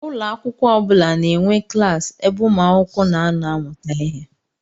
Ụlọakwụkwọ ọbula na-enwe klassi ebe umuakwukwo na-ano amụta ihe.